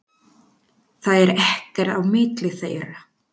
Það er ekkert á milli þeirra.